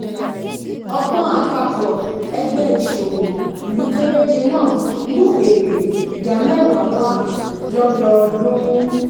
ọgbón àpapò ẹgbé ìsòwò ìlú kéréje náà mú èrè ìdá mèwá wá lódọdún